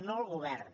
no el govern